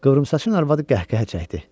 Qıvrımsaçın arvadı qəhqəhə çəkdi.